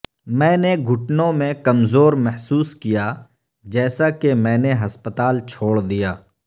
میں نے گھٹنوں میں کمزور محسوس کیا جیسا کہ میں نے ہسپتال چھوڑ دیا